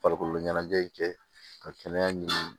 Farikolo ɲɛnajɛ in kɛ ka kɛnɛya ɲini